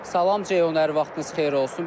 Salam Ceyhun, hər vaxtınız xeyir olsun.